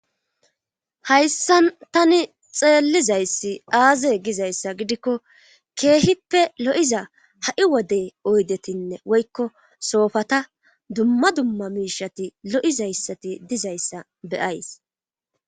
hayssan tani xeellizayssi aaze gizayssa gidikko keehippe lo7iza ha7i wodey oydetinne woykko soofata dumma dumma miishati lo7izayssati dizayssa beyays